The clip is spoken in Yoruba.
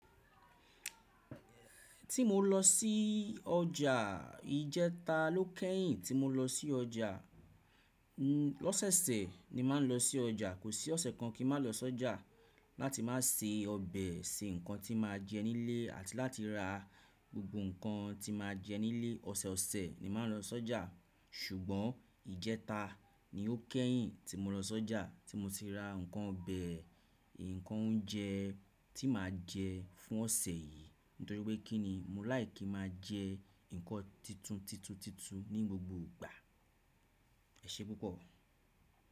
Ti mo lọ sí ọjà, ijẹta ló kẹ́yìn tí mo lọ sí ọjà. L'ọ́sẹ̀sẹ̀ ni màá ń lọ sí ọjà. Kò sí ọ̀sẹ̀ kan kí màá lọ sí ọjà láti máa se ọbẹ̀, se nǹkan tí màá jẹ nílé àti láti ra gbogbo nǹkan tí màá jẹ nílé. Ọ̀sẹ̀ ọ̀sẹ̀ ni màá ń lọ sí ọjà ṣùgbọ́n ijẹta ni ó kẹ́yìn tí mo lọ sí ọjà tí mo ti ra nǹkan ọbẹ̀, nǹkan oúnjẹ tí màá jẹ fún ọ̀sẹ̀ yìí nítorí pé kí ni? Mò fẹran ki n máa jẹ nǹkan titun titun titun ní gbogbo ìgbà. Ẹ ṣé púpọ̀.